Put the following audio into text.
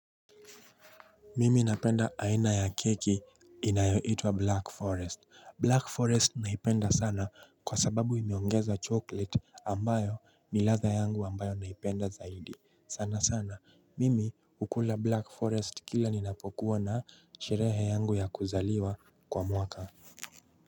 Mimi napenda aina ya keki inayoitwa black forest black forest naipenda sana kwa sababu imeongeza chocolate ambayo ni ladha yangu ambayo naipenda zaidi sana sana mimi hukula black forest kila ninapokuwa na sherehe yangu ya kuzaliwa kwa mwaka.